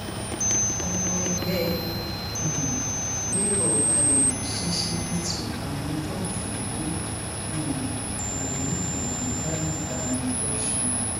ọmọ ẹgbẹ um labour balẹ ṣíṣíbítù àwọn tóògì ló um lù ú lù ú lálùbami lọsùn